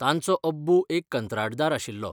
तांचोअब्बू एक कंत्राटदार आशिल्लो.